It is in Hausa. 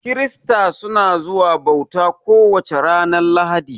Kirista suna zuwa bauta ko wace ranar lahadi